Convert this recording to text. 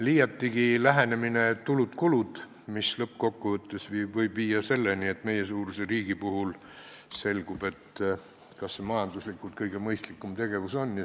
Liiatigi on lähenemine "tulud-kulud", mis lõppkokkuvõttes võib viia selleni, et sellise suurusega riigi puhul nagu meie riik tuleb välja, et kas see majanduslikult ikka kõige mõistlikum tegevus on.